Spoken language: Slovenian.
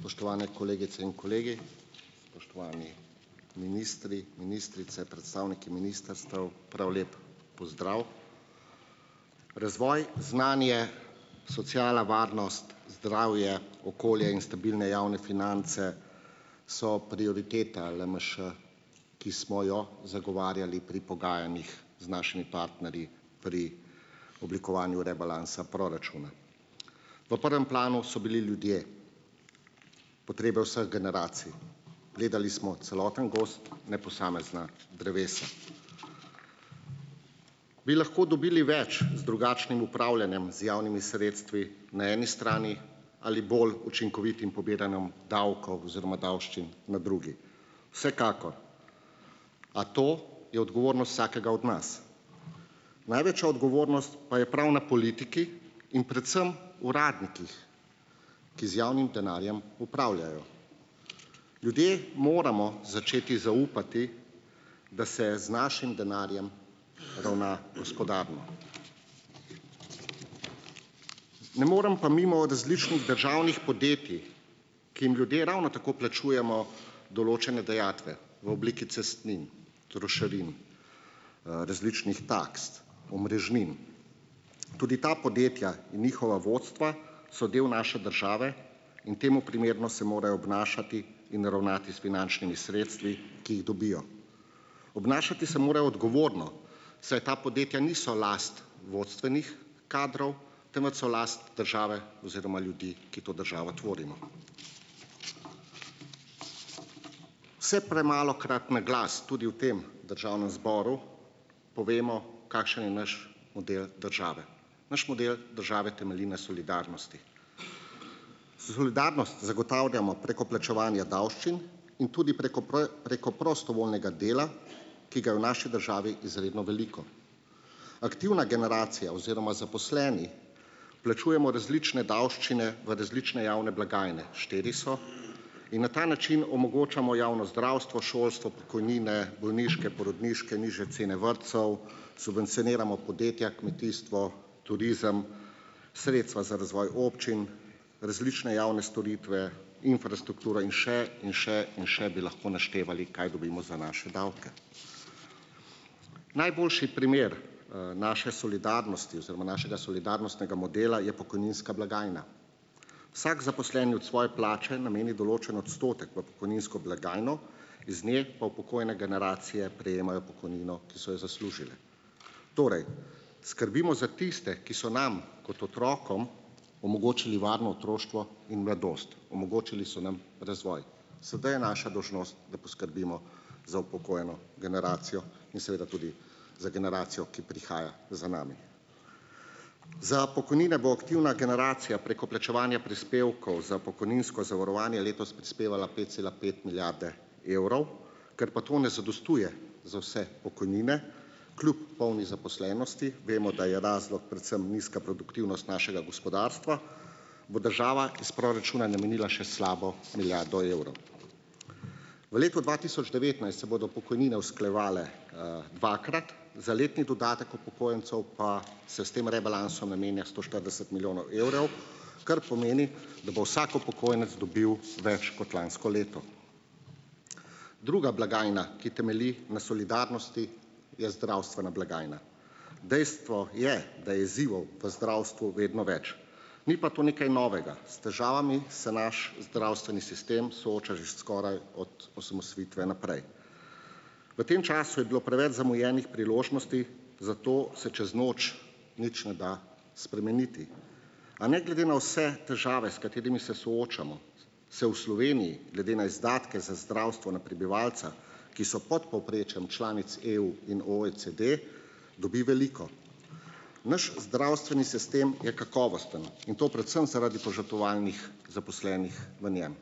Spoštovane kolegice in kolegi, spoštovani ministri, ministrice, predstavniki ministrstev, prav lep pozdrav. Razvoj, znanje, sociala, varnost, zdravje, okolje in stabilne javne finance so prioriteta LMŠ, ki smo jo zagovarjali pri pogajanjih z našimi partnerji pri oblikovanju rebalansa proračuna. V prvem planu so bili ljudje, potrebe vseh generacij. Gledali smo celoten gozd, ne posamezna drevesa. Bi lahko dobili več z drugačnim upravljanjem z javnimi sredstvi na eni strani ali bolj učinkovitim pobiranjem davkov oziroma davščin na drugi? Vsekakor, a to je odgovornost vsakega od nas. Največja odgovornost pa je prav na politiki in predvsem uradnikih, ki z javnim denarjem upravljajo. Ljudje moramo začeti zaupati, da se z našim denarjem ravna gospodarno. Ne morem pa mimo različnih državnih podjetij, ki jim ljudje ravno tako plačujemo določene dajatve v obliki cestnin, trošarin, različnih taks, omrežnin. Tudi ta podjetja in njihova vodstva so del naše države in temu primerno se morajo obnašati in ravnati s finančnimi sredstvi, ki jih dobijo. Obnašati se morajo odgovorno, saj ta podjetja niso last vodstvenih kadrov, temveč so last države oziroma ljudi, ki to državo tvorimo. Vse premalokrat na glas tudi v tem Državnem zboru povemo, kakšen je naš model države. Naš model države temelji na solidarnosti. Solidarnost zagotavljamo preko plačevanja davščin in tudi preko preko prostovoljnega dela, ki ga je v naši državi izredno veliko. Aktivna generacija oziroma zaposleni plačujemo različne davščine v različne javne blagajne, štiri so, in na ta način omogočamo javno zdravstvo, šolstvo, pokojnine, bolniške, porodniške, nižje cene vrtcev, subvencioniramo podjetja, kmetijstvo, turizem, sredstva za razvoj občin, različne javne storitve, infrastrukturo in še in še in še bi lahko naštevali, kaj dobimo za naše davke. Najboljši primer naše solidarnosti oziroma našega solidarnostnega modela je pokojninska blagajna. Vsak zaposleni od svoje plače nameni določen odstotek v pokojninsko blagajno, iz nje pa upokojene generacije prejemajo pokojnino, ki so jo zaslužile. Torej skrbimo za tiste, ki so nam kot otrokom omogočili varno otroštvo in mladost, omogočili so nam razvoj. Sedaj je naša dolžnost, da poskrbimo za upokojeno generacijo in seveda tudi za generacijo, ki prihaja za nami. Za pokojnine bo aktivna generacija preko plačevanja prispevkov za pokojninsko zavarovanje letos prispevala pet cela pet milijarde evrov, ker pa to ne zadostuje za vse pokojnine kljub polni zaposlenosti, vemo, da je razlog predvsem nizka produktivnost našega gospodarstva, bo država iz proračuna namenila še slabo milijardo evrov. V letu dva tisoč devetnajst se bodo pokojnine usklajevale dvakrat, za letni dodatek upokojencev pa se s tem rebalansom namenja sto štirideset milijonov evrov, kar pomeni, da bo vsak upokojenec dobil več kot lansko leto. Druga blagajna, ki temelji na solidarnosti, je zdravstvena blagajna. Dejstvo je, da je izzivov v zdravstvu vedno več. Ni pa to nekaj novega. S težavami se naš zdravstveni sistem sooča že skoraj od osamosvojitve naprej. V tem času je bilo preveč zamujenih priložnosti, zato se čez noč nič ne da spremeniti. A ne glede na vse težave, s katerimi se soočamo, se v Sloveniji glede na izdatke za zdravstvo na prebivalca, ki so pod povprečjem članic EU in OECD, dobi veliko. Naš zdravstveni sistem je kakovosten in to predvsem zaradi požrtvovalnih zaposlenih v njem.